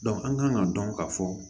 an kan ka dɔn ka fɔ